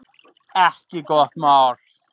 Ekki gott mál